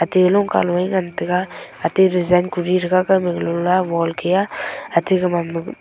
tai longka nu ngan tega atey rejain kuri thega kau wol ke aa atey gaman me--